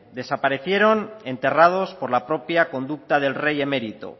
desaparecieron enterrados por la propia conducta del rey emérito